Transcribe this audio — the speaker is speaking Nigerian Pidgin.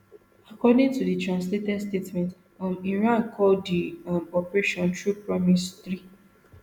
according to di translated statement um iran call di um operation true promise three